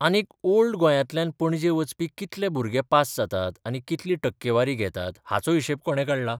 आनीक ओल्ड गोंयांतल्यान पणजे वचपी कितले भुरगे पास जातात आनी कितली टक्केवारी घेतात हाचो हिशेब कोणे काढला?